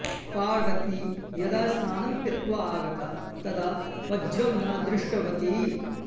पार्वती यदा स्नानं कृत्वा आगता तदा वज्रं न दृष्टवती